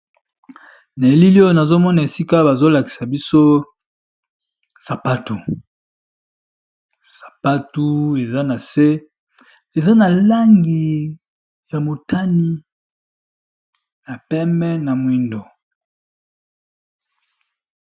Na elili oyo nazomona esika bazolakisa biso sapatu sapatu eza na se eza na langi ya motani ya peme na mwindo.